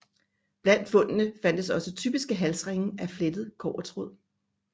Blandt fundene fandtes også typiske halsringe af flettet kobbertråd